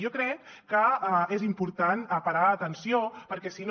i jo crec que és important parar hi atenció perquè si no